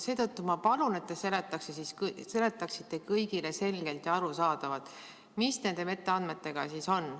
Seetõttu ma palun, et te seletaksite kõigile selgelt ja arusaadavad, mis nende metaandmetega siis on.